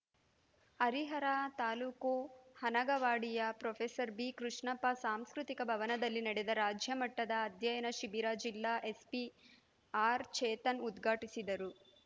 Harihara taluk ಹನಗವಾಡಿಯ professor ಬಿಕೃಷ್ಣಪ್ಪ ಸಾಂಸ್ಕೃತಿಕ ಭವನದಲ್ಲಿ ನಡೆದ ರಾಜ್ಯಮಟ್ಟದ ಅಧ್ಯಯನ ಶಿಬಿರ ಜಿಲ್ಲಾ ಎಸ್ಪಿ ಆರ್‌ಚೇತನ್‌ ಉದ್ಘಾಟಿಸಿದರು